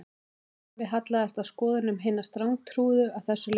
Afi hallaðist að skoðunum hinna strangtrúuðu að þessu leyti